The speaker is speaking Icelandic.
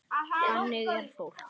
Þannig er fólk.